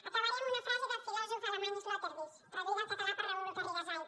acabaré amb una frase del filòsof alemany sloterdijk traduïda al català per raül garrigasait